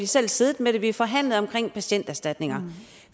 selv siddet med det vi har forhandlet patienterstatninger